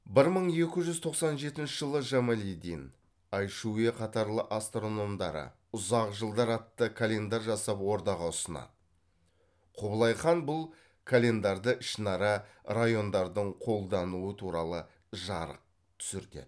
бір мың екі жүз тоқсан жетінші жылы жамалиддин айшуе қатарлы астрономдары ұзақ жылдар атты календарь жасап ордаға ұсынады құбылай хан бұл календарды ішінара райондардың қолдануы туралы жарық түсіртеді